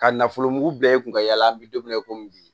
Ka nafolo mugu bila i kun ka yala an bɛ don min na i komi bi